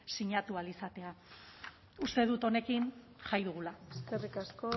sinatu ahal izatea uste dut honekin jai dugula eskerrik asko